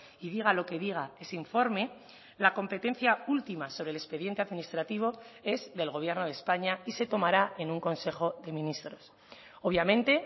y diga lo que diga ese informe la competencia última sobre el expediente administrativo es del gobierno de españa y se tomará en un consejo de ministros obviamente